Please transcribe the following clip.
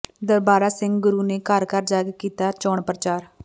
ਦਰਬਾਰਾ ਸਿੰਘ ਗੁਰੂ ਨੇ ਘਰ ਘਰ ਜਾ ਕੇ ਕੀਤਾ ਚੋਣ ਪ੍ਰਚਾਰ